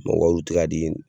u tɛ ka di